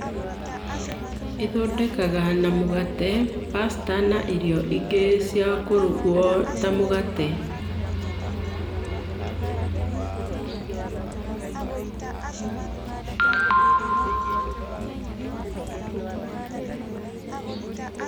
ĩthondekaga na mũgate ,pasta na irio ingĩ ciakũrugwo ta mũgate.